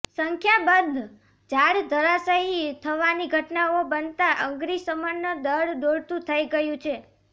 સંખ્યાબંધ ઝાડ ધરાશયી થવાની ઘટનાઓ બનતાં અગ્નીશમન દળ દોડતુ થઇ ગયુ છે